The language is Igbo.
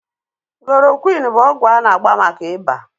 Koloroqini bụ ọgwụ a na-agba maka ịba